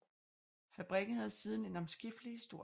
Fabrikken havde siden en omskiftelig historie